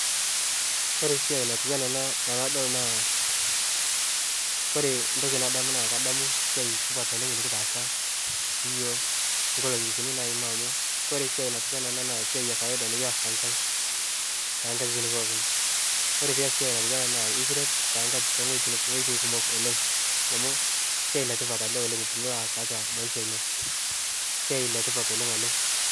Ore esiai natiu enaa ena tenadol naa kore entoki nadamu naa kadamu esiai supat oleng' nekitaasa siyiook inkolong'i kunyik naima amu kore siai natiu enaa ena nee esiai e kawaida nekiasita tee nkatitin pookin. Kore pias esiai natiu enaa ena naa ekiret tee nkatiti too wueitin kumok oleng' amu esiai le tipat oleng' tenilo aas tiatua maisha ino, esiai letipat oleng' ena.